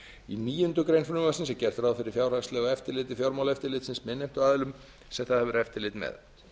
í níundu grein frumvarpsins er gert ráð fyrir fjárhagslegu eftirlit fjármálaeftirlitsins með innheimtuaðilum sem það hefur eftirlit með